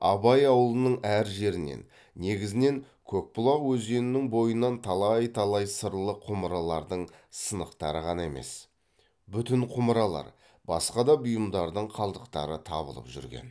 абай ауылының әр жерінен негізінен көкбұлақ өзенінің бойынан талай талай сырлы құмыралардың сынықтары ғана емес бүтін құмыралар басқа да бұйымдардың қалдықтары табылып жүрген